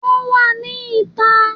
Wọ́n wà ní ìta